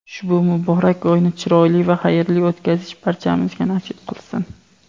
Ushbu muborak oyni chiroyli va xayrli o‘tkazish barchamizga nasib qilsin.